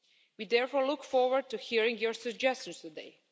We therefore look forward to hearing your suggestions today.